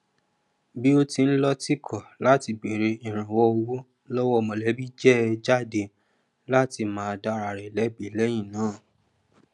bí ó ṣe ń lọtìkọ láti bèrè ìrànwọ owó lọwọ mọlẹbí jẹ jade látí má dàra rẹ lẹbí lẹyìn náà